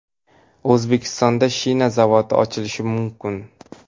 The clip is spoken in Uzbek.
O‘zbekistonda shina zavodi ochilishi mumkin.